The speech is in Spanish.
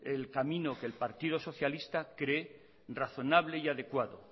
el camino que el partido socialista cree razonable y adecuado